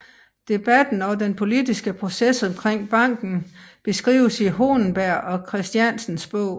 Debatten og den politiske proces omkring banken beskrives i Hohlenberg og Kristiansens bog